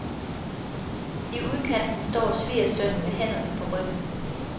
I udkanten står svigersønnen med hænderne på ryggen.